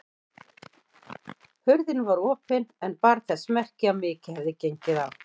Hurðin var opin en bar þess merki að mikið hefði gengið á.